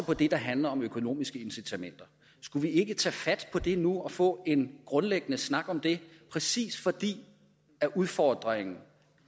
på det der handler om økonomiske incitamenter skulle vi ikke tage fat på det nu og få en grundlæggende snak om det præcis fordi udfordringen